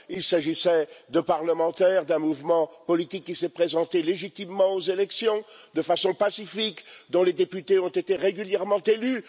Il s'agissait de parlementaires, d'un mouvement politique qui s'est présenté légitimement aux élections, de façon pacifique, dont les députés ont été régulièrement élus.